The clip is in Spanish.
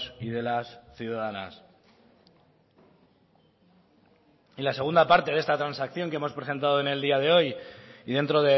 y de las ciudadanas y la segunda parte de esta transacción que hemos presentado en el día de hoy y dentro